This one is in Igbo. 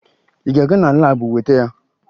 Ị ga-aga na laabụ weta ya!